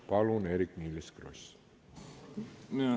Palun, Eerik-Niiles Kross!